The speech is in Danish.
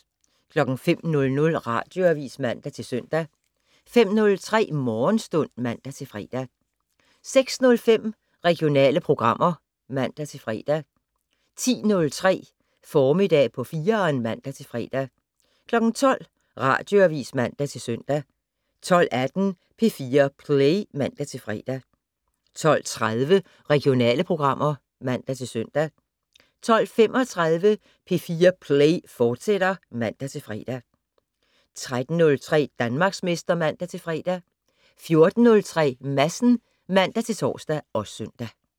05:00: Radioavis (man-søn) 05:03: Morgenstund (man-fre) 06:05: Regionale programmer (man-fre) 10:03: Formiddag på 4'eren (man-fre) 12:00: Radioavis (man-søn) 12:18: P4 Play (man-fre) 12:30: Regionale programmer (man-søn) 12:35: P4 Play, fortsat (man-fre) 13:03: Danmarksmester (man-fre) 14:03: Madsen (man-tor og søn)